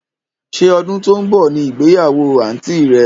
Sé ọdún tó ń bọ̀ ní ìgbéyàwó àǹtí rẹ?